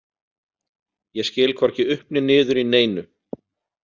Ég skil hvorki upp né niður í neinu.